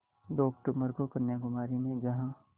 दो अक्तूबर को कन्याकुमारी में जहाँ